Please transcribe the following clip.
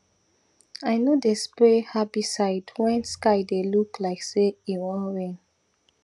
i no dey spray herbicide when sky dey look like say e wan rain